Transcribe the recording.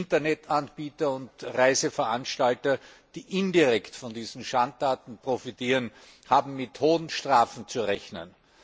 Internetanbieter und Reiseveranstalter, die indirekt von diesen Schandtaten profitieren, haben mit hohen Strafen zu rechnen.